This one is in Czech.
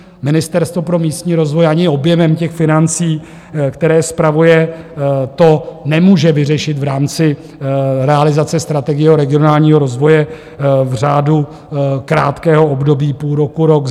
Ministerstvo pro místní rozvoj ani objemem těch financí, které spravuje, to nemůže vyřešit v rámci realizace strategie regionálního rozvoje v řádu krátkého období půl roku, rok.